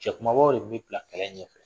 Cɛ kumabaw de bi bila kɛlɛ ɲɛfɛ.